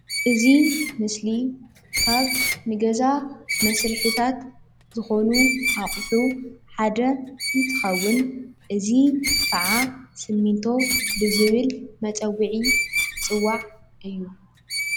እዚ ምስሊ ካብ ንገዛ መስርሒታት ዝኮኑ ኣቕሑ ሓደ እንትኸውን፤ እዚ ከዓ ስሚንቶ ብዝብል መፀውዒ ዝፅዋዕ እዩ፡፡